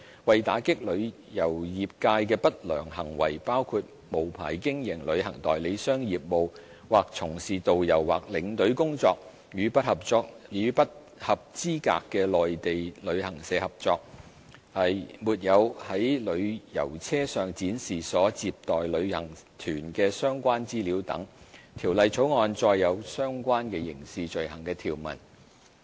為打擊旅遊業界的不良行為，包括無牌經營旅行代理商業務或從事導遊或領隊工作、與不合資格的內地旅行社合作、沒有在旅遊車上展示所接載旅行團的相關資料等，《條例草案》載有相關刑事罪行的條文。